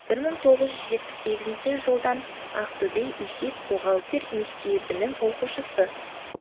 бір мың тоғыз жүз жетпіс сегізінші жылдан ақтөбе есеп бухгалтер мектебінің оқушысы